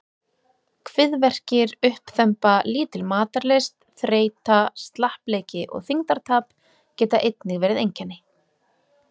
Kviðverkir, uppþemba, lítil matarlyst, þreyta, slappleiki og þyngdartap geta einnig verið einkenni.